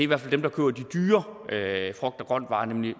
hvert fald dem der køber de dyre frugt og grønt varer nemlig